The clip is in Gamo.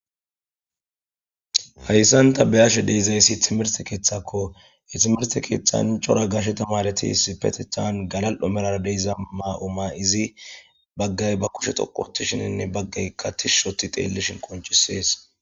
hayssanta beyashe deezayssi timirse keeththakko itimerse keeththancora gashetamaretispetethan galal7o melara deiza maa7o ma izi baggay ba kushe xoqotishininne baggay katishushoti xeellishin qonchisees